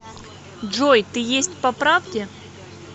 джой ты есть по правде